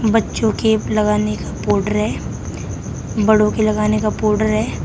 बच्चों के लगाने का पाउडर है बड़ों के लगाने का पाउडर है।